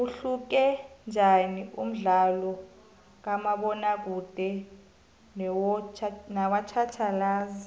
uhluke njaniumdlalokamabona kude nowatjhatjhalazi